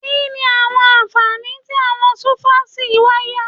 Kí ni àwọn ànfàní tí àwọn súfásí wáyà?